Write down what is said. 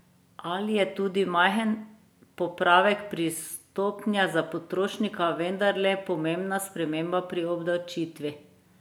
Ali je tudi majhen popravek pri stopnjah za potrošnika vendarle pomembna sprememba pri obdavčitvi?